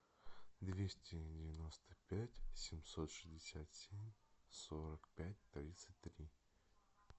двести девяносто пять семьсот шестьдесят семь сорок пять тридцать три